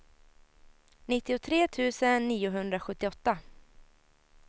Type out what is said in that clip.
nittiotre tusen niohundrasjuttioåtta